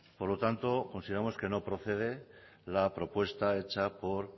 por lo tanto consideramos que no procede la propuesta hecha por